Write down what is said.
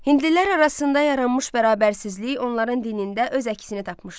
Hindlilər arasında yaranmış bərabərsizlik onların dinində öz əksini tapmışdı.